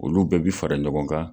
Olu bɛɛ bi fara ɲɔgɔn kan